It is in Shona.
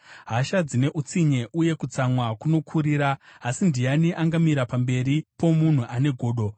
Hasha dzine utsinye uye kutsamwa kunokurira, asi ndiani angamira pamberi pomunhu ane godo?